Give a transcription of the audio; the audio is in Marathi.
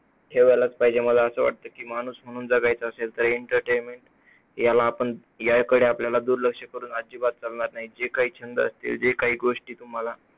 ठेवायलाच पाहिजे. मला असं वाटतं की माणूस म्हणून जगायचं असेल तर entertainment याला आपण याकडे आपल्याला दुर्लक्ष करून आपल्याला अजिबात चालणार नाही. जे काही असतील जे काही गोष्टी तुम्हाला